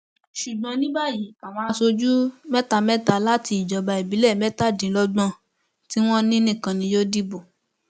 ṣùgbọn ní báyìí àwọn aṣojú mẹta mẹta láti ìjọba ìbílẹ mẹtàdínlọgbọn tí wọn ní nìkan ni yóò dìbò